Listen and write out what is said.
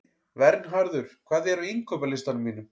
Vernharður, hvað er á innkaupalistanum mínum?